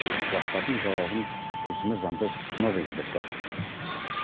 бұл сұрақтардың жауабын тілшіміз жандос жұмабек іздеп көрді